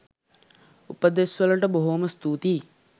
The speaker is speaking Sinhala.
උපදෙස් වලට බොහෝම ස්තුතියි